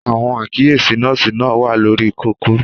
Àwọn àkíyèsí nọ́ọ̀sì náà wà lórí kókó.